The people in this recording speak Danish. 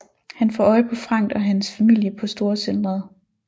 Han får øje på Frank og hans familie på storcentret